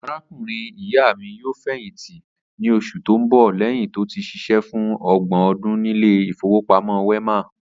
Arákùnrin ìyá mi yóò fè̩yìntí ní os̩ù tó ń bò̩ lé̩yìn tó ti s̩is̩é̩ fún o̩gbò̩n o̩dún nílé ìfowópamó̩ Wé̩mà